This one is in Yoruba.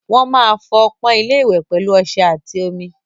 Wọ́n máa fọ ọpọ́n ilé-ìwẹ̀ pẹ̀lú ọṣẹ àti omi.